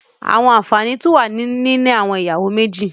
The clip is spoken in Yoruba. There are benefits of having two wives